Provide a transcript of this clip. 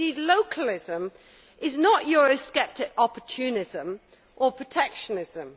Localism is not Eurosceptic opportunism or protectionism